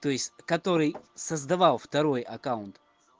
то есть который создавал второй аккаунт